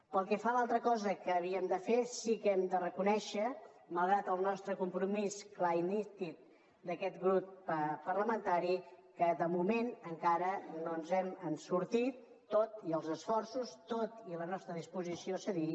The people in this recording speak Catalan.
pel que fa a l’altra cosa que havíem de fer sí que hem de reconèixer malgrat el nostre compromís clar i nítid d’aquest grup parlamentari que de moment encara no ens n’hem sortit tot i els esforços tot i la nostra disposició a cedir